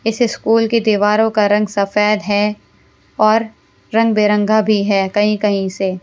इस स्कूल की दीवारों का रंग सफेद है और रंगबिरंगा भी है कहीं-कहीं से।